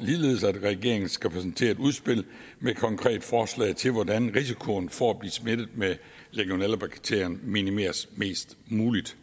ligeledes at regeringen skal præsentere et udspil med et konkret forslag til hvordan risikoen for at blive smittet med legionellabakterien minimeres mest muligt